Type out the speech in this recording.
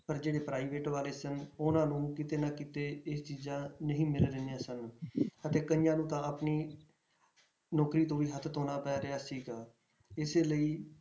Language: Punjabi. ਪਰ ਜਿਹੜੇ private ਵਾਲੇ ਸਨ ਉਹਨਾਂ ਨੂੰ ਕਿਤੇ ਨਾ ਕਿਤੇ ਇਹ ਚੀਜ਼ਾਂ ਨਹੀਂ ਮਿਲ ਰਹੀਆਂ ਸਨ ਅਤੇ ਕਈਆਂ ਨੂੰ ਤਾਂ ਆਪਣੀ ਨੌਕਰੀ ਤੋਂ ਵੀ ਹੱਥ ਧੌਣਾ ਪੈ ਰਿਹਾ ਸੀਗਾ, ਇਸੇ ਲਈ